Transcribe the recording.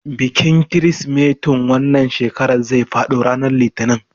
Bikin kirsimetin wannan shekarar zai faɗo ranar litinin.